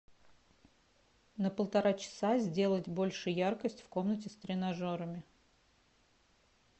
на полтора часа сделать больше яркость в комнате с тренажерами